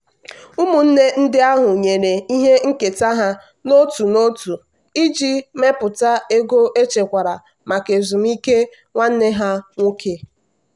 ụmụnne ndị ahụ nyere ihe nketa ha otu n'otu iji mepụta ego echekwara maka ezumike nwanne ha nwoke.